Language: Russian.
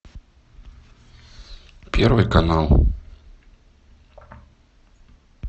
первый канал